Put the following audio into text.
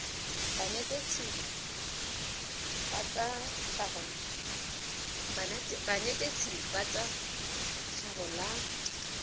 banetetshi ba tsa tlhago la